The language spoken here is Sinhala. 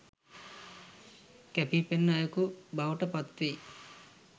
කැපී පෙනන අයෙකු බවට පත්වෙයි